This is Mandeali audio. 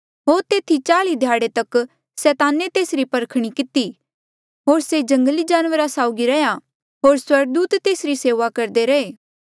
होर तेथी चाल्ई ध्याड़े तक सैताने तेसरी परखणी किती होर से जंगली जानवरा साउगी रैहया होर स्वर्गदूत तेसरी सेऊआ करदे रहे